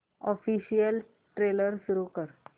official trailer सुरू कर